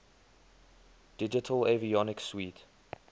digital avionics suite